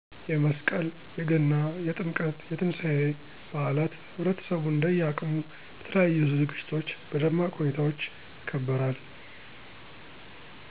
የመስቀል :የገና :የጥምቀት :የትንሳኤ በአላት ህብረተሰቡ እንደየ አቅሙ በተለያዩ ዝግጅቶች በደማቅ ሁኔታዎች ይከበራል።